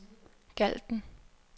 Galten